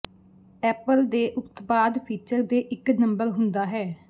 Apple ਦੇ ਉਤਪਾਦ feature ਦੇ ਇੱਕ ਨੰਬਰ ਹੁੰਦਾ ਹੈ